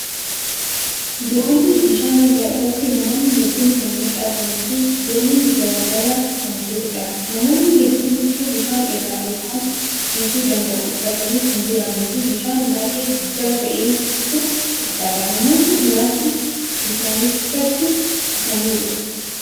Doonii bishaanirraa irratti namoonni hedduun kan mul'atanii fii Doonin garagalaa kan jiruudha. Namoonni hedduun huccuu bishaan irra isaan tursiisu danda'au uffatanii kan jiraniifii bishaan baay'ee guddaa ta'etu mul'ata. Namootni muraasni bishaanichatti kufaniiru.